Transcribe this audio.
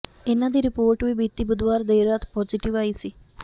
ਇਨ੍ਹਾਂ ਦੀ ਰਿਪੋਰਟ ਵੀ ਬੀਤੀ ਬੁੱਧਵਾਰ ਦੇਰ ਰਾਤ ਪਾਜ਼ੀਟਿਵ ਆਈ ਸੀ